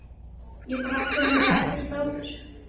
Ég bara áttaði mig ekkert á þessu.